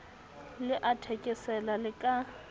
le a thekesela le ka